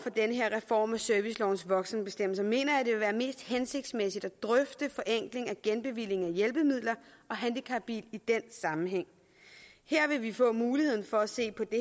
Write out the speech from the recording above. den her reform af servicelovens voksenbestemmelser mener jeg at være mest hensigtsmæssigt at drøfte forenkling af genbevilling af hjælpemidler og handicapbiler i den sammenhæng her vil vi få muligheden for at se på det